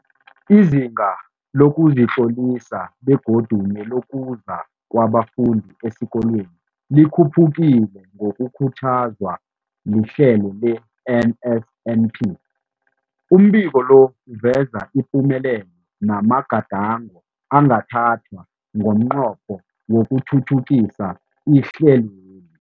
Izinga lokuzitlolisa begodu nelokuza kwabafundi esikolweni likhuphukile ngokukhuthazwa lihlelo le-NSNP. Umbiko lo uveza ipumelelo namagadango angathathwa ngomnqopho wokuthuthukisa ihlelweli.